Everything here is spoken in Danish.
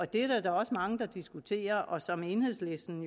det er der da også mange der diskuterer og som enhedslisten